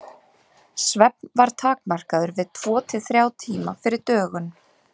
Svefn var takmarkaður við tvo til þrjá tíma fyrir dögun.